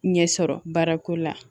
Ɲɛsɔrɔ baara ko la